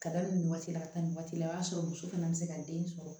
Ka da nin waati la ka taa nin waati la o y'a sɔrɔ muso fana bɛ se ka den sɔrɔ